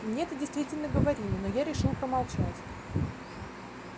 мне это действительно говорили но я решил промолчать